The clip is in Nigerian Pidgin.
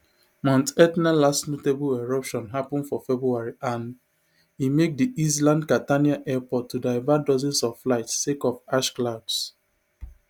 mount etna last notable eruption happun for february and e make di island catania airport to divert dozens of flights sake of ash clouds